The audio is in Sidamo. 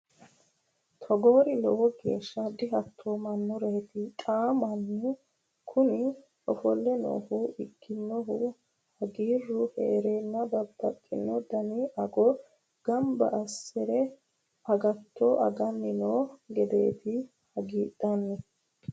Togori lowo geeshsha dihaatomanoreti xa mannu kuni ofolle noohu ikkinohu hagiiru heerenna babbaxxino dani ago gamba assire agatto agani noo gedeti hagiidhanni.